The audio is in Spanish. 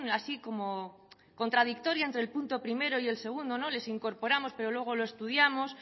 así como contradictoria entre el punto primero y el segundo les incorporamos pero luego lo estudiamos